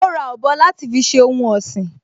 Ó ra ọ̀bọ láti fi ṣe ohun ọ̀sìn